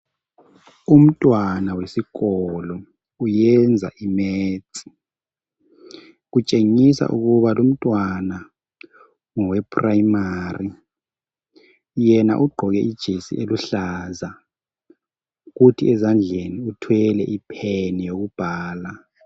Umntwana wesikolo uyenza imaths. Kutshengisa ukuba lumntwana ngowe primary. Yena ugqoke ijesi eluhlaza, kuthi ezandleni uthwele ipen yokubhala.